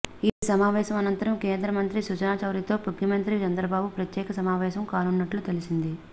ఈ సమావేశం అనంతరం కేంద్ర మంత్రి సుజనా చౌదరితో ముఖ్యమంత్రి చంద్రబాబు ప్రత్యేక సమావేశం కానున్నట్లు తెలిసింది